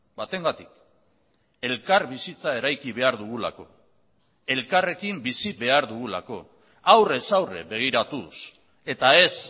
batengatik elkarbizitza eraiki behar dugulako elkarrekin bizi behar dugulako aurrez aurre begiratuz eta ez